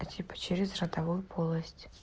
а типа через ротовую полость